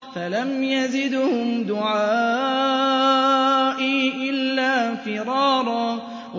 فَلَمْ يَزِدْهُمْ دُعَائِي إِلَّا فِرَارًا